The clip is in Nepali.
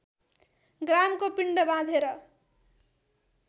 ग्रामको पिण्ड बाँधेर